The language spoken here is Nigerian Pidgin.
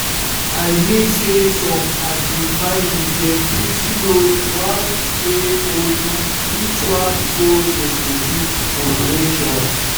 i mean say some um family dem fit u know want pray or do ritual before dem go do operation